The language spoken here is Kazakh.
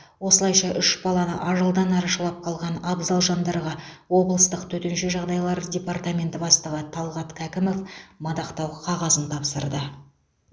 осылайша үш баланы ажалдан арашалап қалған абзал жандарға облыстық төтенше жағдайлар департаменті бастығы талғат кәкімов мадақтау қағазын тапсырды